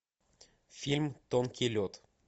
фильм тонкий лед